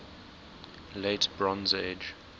late bronze age